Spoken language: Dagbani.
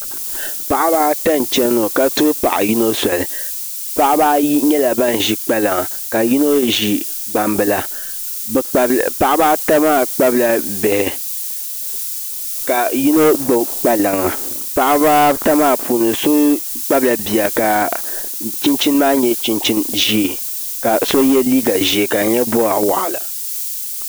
Paɣaba ata n chɛni ŋɔ ka tuhi paɣa yino soli paɣaba ayi nyɛla ban ʒi kpalaŋa ka yino ʒi gbambila paɣaba ata maa kpabila bihi ka yino gbubo kpalaŋa paɣaba ata maa puuni so kpabila bia ka chinchin maa nyɛ chinchin ʒiɛ ka so yɛ liiga ʒiɛ ka di nyɛ boɣa waɣala